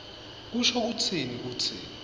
kusho kutsini kutsi